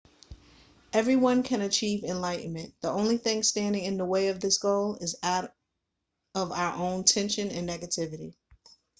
everyone can achieve enlightenment the only thing standing in the way of this goal is our own tension and negativity